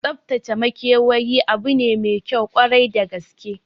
Tsaftace makewayi abu ne maikyau kwarai da gaske